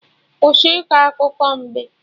Kwụsị iko akụkọ mbe!